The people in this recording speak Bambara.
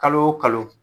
Kalo o kalo